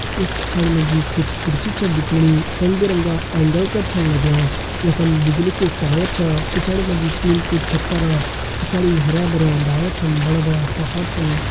येक पिछाड़ि मजी कुछ कुर्सी छन दिखेणी रंग बिरंगा एंगल कर छन लग्यां। यखम बिजली कु टावर छा। पिछाड़ि मजी टीन कु छप्परा। पिछाड़ि हरियां भरियां डाला छन बड़ा बड़ा पहाड़ छन।